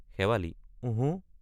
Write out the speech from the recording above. শেৱালি—ওঁহো।